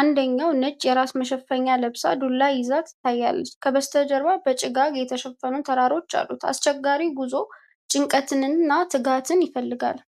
አንደኛዋ ነጭ የራስ መሸፈኛ ለብሳ ዱላ ይዛ ትታያለች። ከበስተጀርባ በጭጋግ የተሸፈኑ ተራሮች አሉ። አስቸጋሪው ጉዞ ጭንቀትንና ትጋትን ይፈልጋል።